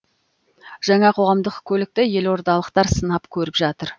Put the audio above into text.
жаңа қоғамдық көлікті елордалықтар сынап көріп жатыр